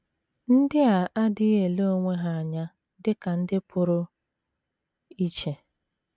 NDỊ a adịghị ele onwe ha anya dị ka ndị pụrụ iche.